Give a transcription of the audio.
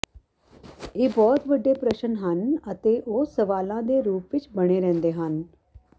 ਇਹ ਬਹੁਤ ਵੱਡੇ ਪ੍ਰਸ਼ਨ ਹਨ ਅਤੇ ਉਹ ਸਵਾਲਾਂ ਦੇ ਰੂਪ ਵਿੱਚ ਬਣੇ ਰਹਿੰਦੇ ਹਨ